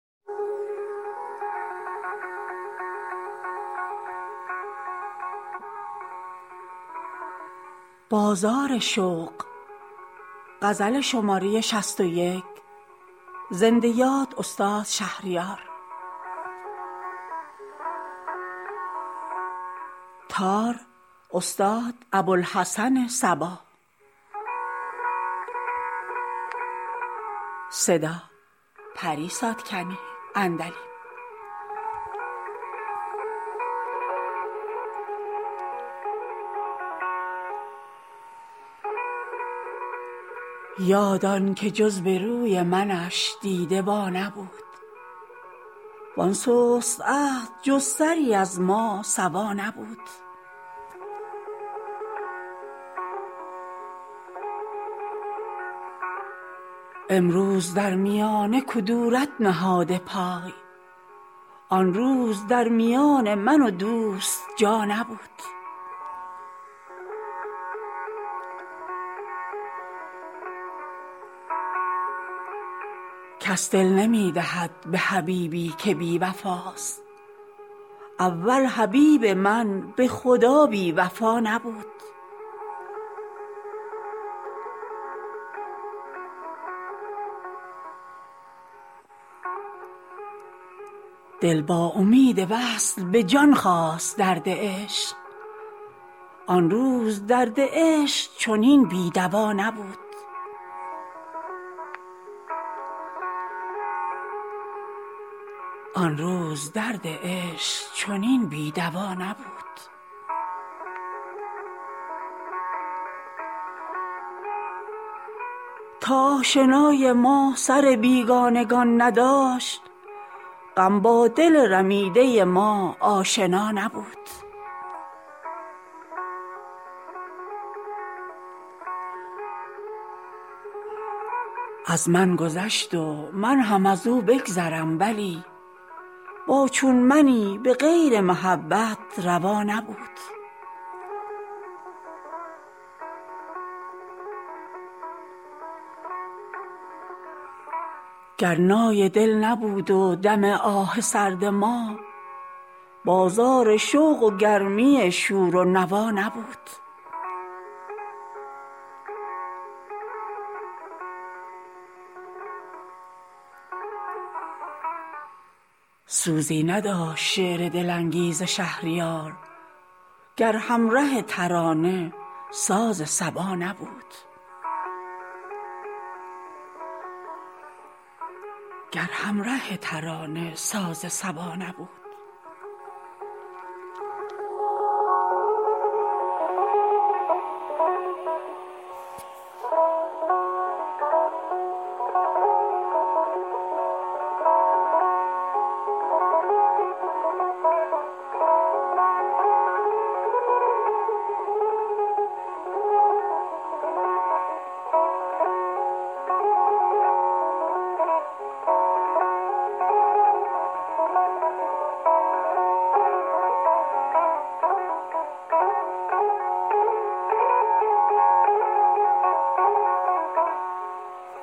یاد آن که جز به روی منش دیده وا نبود وان سست عهد جز سری از ما سوا نبود امروز در میانه کدورت نهاده پای آن روز در میان من و دوست جا نبود کس دل نمی دهد به حبیبی که بی وفاست اول حبیب من به خدا بی وفا نبود دل با امید وصل به جان خواست درد عشق آن روز درد عشق چنین بی دوا نبود تا آشنای ما سر بیگانگان نداشت غم با دل رمیده ما آشنا نبود از من گذشت و من هم از او بگذرم ولی با چون منی به غیر محبت روا نبود دوشم نخفت دیده به بالین دل ولی مسکین دلم به زحمت مردم رضا نبود اکنون به کودکی که نبودم اسیر عشق افسوس می خورم که دلم با خدا نبود گر نای دل نبود و دم آه سرد ما بازار شوق و گرمی شور و نوا نبود سوزی نداشت شعر دل انگیز شهریار گر همره ترانه ساز صبا نبود